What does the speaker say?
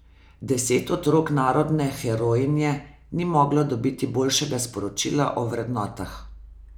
Deset otrok narodne herojinje ni moglo dobiti boljšega sporočila o vrednotah.